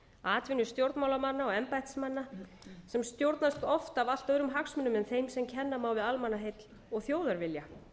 fárra atvinnustjórnmálamanna embættismanna sem stjórnast oft af allt öðrum hagsmunum en þeim sem kenna má við almannaheill og þjóðarvilja